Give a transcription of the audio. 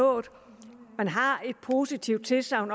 nået man har et positivt tilsagn